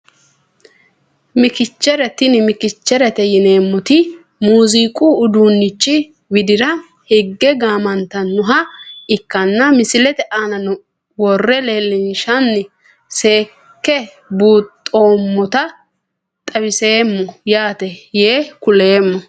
Mikchere tini mikcherete yineemoti muiziqu uduunichi widira higge gaamantanoha ikanna misilete aana wore leelinshana seeke buuxomota xawiseemo yaate yee kulemmo.